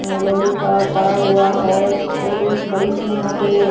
लोहे का पड़ा हुआ है और एक बड़ी सी यहां पे--